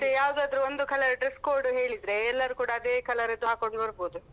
ಮತ್ತೆ ಯಾವ್ದಾದ್ರು ಒಂದು colour dress code ಹೇಳಿದ್ರೆ ಎಲ್ಲರು ಕೂಡ ಅದೇ ಕಲ್ಲರಿದ್ದು ಹಾಕೊಂಡ್ ಬರ್ಬೋದು.